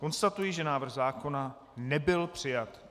Konstatuji, že návrh zákona nebyl přijat.